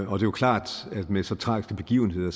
er jo klart at med så tragiske begivenheder